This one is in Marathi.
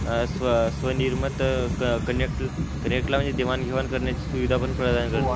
अह स्व स्वनिर्मित क कंटेण्टला म्हणजे देवाणघेवाण करण्याची सुविधा पण प्रदान करते.